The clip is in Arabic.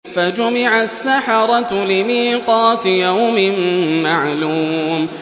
فَجُمِعَ السَّحَرَةُ لِمِيقَاتِ يَوْمٍ مَّعْلُومٍ